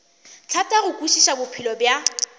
thata go kwešiša bophelo bja